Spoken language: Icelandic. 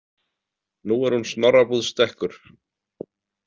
Nú er hún Snorrabúð stekkur.